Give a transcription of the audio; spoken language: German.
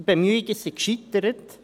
Die Bemühungen sind gescheitert.